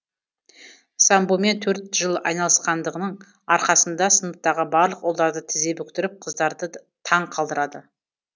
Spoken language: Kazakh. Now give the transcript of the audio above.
самбомен төрт жыл айналысқандығының арқасында сыныптағы барлық ұлдарды тізе бүктіріп қыздарды таң қалдырды